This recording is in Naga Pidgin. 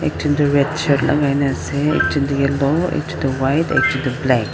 ekjun toh red shirt lagai na ase aru ekjun toh yellow aru ekjun tu white ekjun toh black .